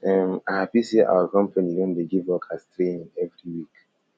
um i hapi sey our company don dey give workers training every week